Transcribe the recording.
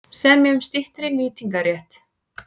Semja um styttri nýtingarrétt